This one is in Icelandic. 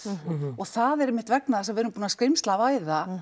og það er einmitt vegna þess að við erum búin að